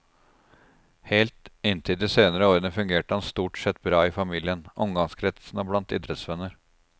Helt inntil de senere årene fungerte han stort sett bra i familien, omgangskretsen og blant idrettsvenner.